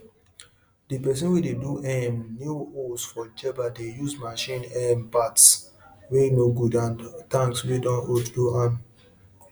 air wey dey enter and comot for light and air suppose high pass animal tallness so breeze no go blow dem comut